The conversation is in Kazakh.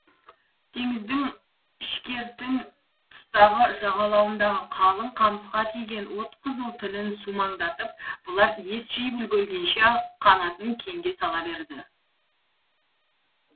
теңіздің ішкертін тұстағы жағалауындағы қалың қамысқа тиген от қызыл тілін сумаңдатып бұлар ес жиып үлгергенше ақ қанатын кеңге сала берді